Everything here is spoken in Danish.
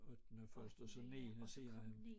Ottende først og så niende senere